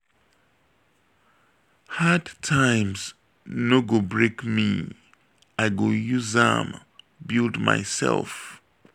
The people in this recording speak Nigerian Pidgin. hard times no go break me i go use am build mysef.